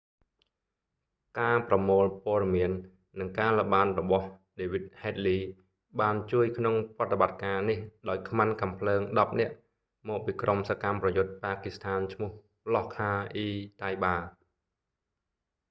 ការប្រមូលព័ត៌មាន និងការល្បាតរបស់ david headley បានជួយក្នុងប្រតិបត្តិការនេះដោយខ្មាន់កាំភ្លើង 10 នាក់ មកពីក្រុមសកម្មប្រយុទ្ធប៉ាគីស្ថាន ឈ្មោះ លាស់ខា អ៊ី តៃបា laskhar-e-taiba